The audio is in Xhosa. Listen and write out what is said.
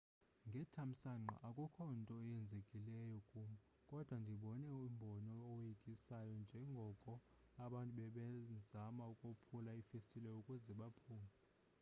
ngethamsanqa akukho nto yenzekileyo kum kodwa ndibone umbono owoyikisayo njengoko abantu bebezama ukophula iifestile ukuze baphume